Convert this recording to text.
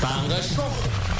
таңғы шоу